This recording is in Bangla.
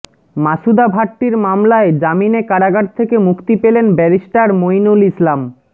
মাসুদা ভাট্টির মামলায় জামিনে কারাগার থেকে মুক্তি পেলেন ব্যারিস্টার মইনুল ইসলাম